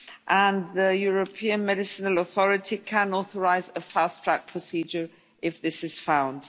speak, and the European Medicines Authority can authorise a fast track procedure if this is found.